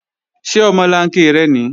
Ṣé omolanke rẹ nìí?